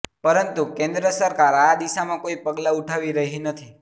પરંતુ કેન્દ્ર સરકાર આ દિશામાં કોઇ પગલા ઉઠાવી રહી નથી